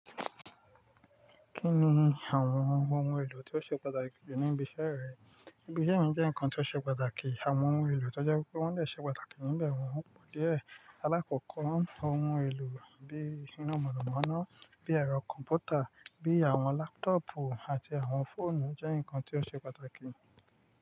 Kí ni àwọn ohun èlò tí ó ṣe pàtàkì jù ní ibi iṣẹ́ rẹ? Ibi iṣẹ́ mi jẹ́ nǹkan tí ó ṣe pàtàkì, àwọn ohun èlò tó jẹ́ pé wọ́n lè ṣe pàtàkì níbẹ̀ wọ́n pọ̀ díẹ̀. Alákọ̀ọ́kọ́ ohun èlò bíi iná mọ̀nàmọ́ná, bíi ẹ̀rọ kọ̀m̀pútà, bíi àwọn lápútọ̀pù àti àwọn fóònù jẹ́ nǹkan tí ó ṣe pàtàkì.